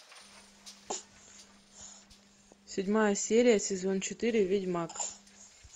седьмая серия сезон четыре ведьмак